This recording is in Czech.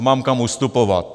A mám kam ustupovat.